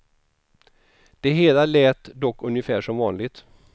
Det hela lät dock ungefär som vanligt.